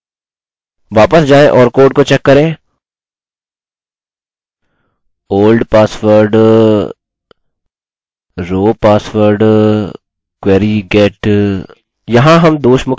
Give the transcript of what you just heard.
वापस जाएँ और कोड को चेक करें old password row password query get